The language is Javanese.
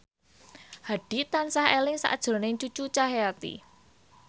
Hadi tansah eling sakjroning Cucu Cahyati